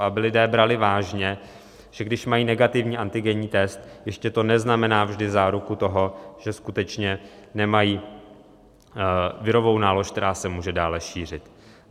Aby lidé brali vážně, že když mají negativní antigenní test, ještě to neznamená vždy záruku toho, že skutečně nemají virovou nálož, která se může dále šířit.